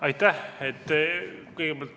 Aitäh!